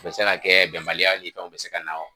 Tun bɛ se ka kɛ bɛnbaliyaw ni fɛnw bɛ se ka na wo.